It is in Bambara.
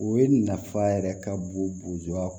O ye nafa yɛrɛ ka bon